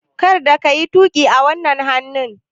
Kar ka yi tuƙi a wannan hannun!